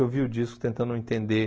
Eu ouvi o disco tentando entender.